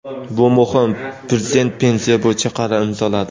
Bu muhim: Prezident pensiya bo‘yicha qaror imzoladi.